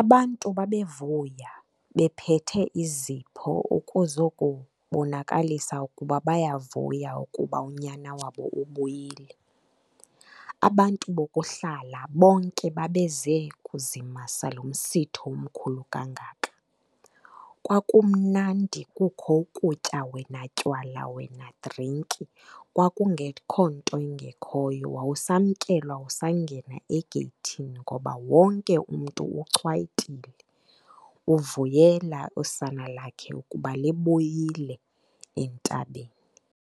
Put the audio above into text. Abantu babevuya, bephethe izipho ukuzokubonakalisa ukuba bayavuya ukuba unyana wabo ubuyile. Abantu bokuhlala bonke babeze kuzimasa lo msitho omkhulu kangaka. Kwakumnandi kukho ukutya wena tywala wena drinki, kwakungekho nto ingekhoyo wawusamkelwa usangena egeyithini ngoba wonke umntu uchwayitile, uvuyela usana lakhe ukuba libuyile entabeni.